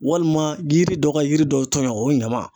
Walima yiri dɔ ka yiri dɔw tɔɲɔ o ɲama